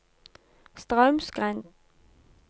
Straumsgrend